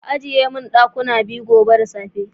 Ka ajiye min dakuna biyu gobe da safe.